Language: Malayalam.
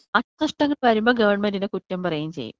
നാശനഷ്ട്ടം വരുമ്പോ ഗവൺമെന്റിന് കുറ്റം പറയ്യേം ചെയ്യും.